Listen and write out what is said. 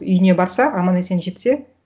үйіне барса аман есен жетсе